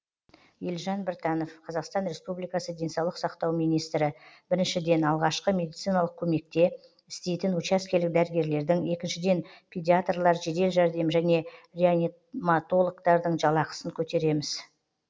елжан біртанов қазақстан республикасы денсаулық сақтау министрі біріншіден алғашқы медициналық көмекте істейтін учаскелік дәрігерлердің екіншіден педиаторлар жедел жәрдем және реаниматологтардың жалақысын көтереміз